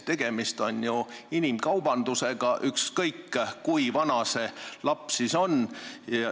Tegemist on ju inimkaubandusega, ükskõik kui vana see laps on.